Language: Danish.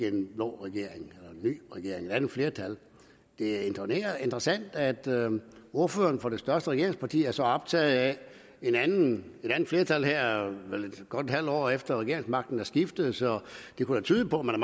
en blå regering en ny regering et andet flertal det er interessant at ordføreren for det største regeringsparti er så optaget af et andet flertal her godt et halvt år efter at regeringsmagten er skiftet så det kunne da tyde på at man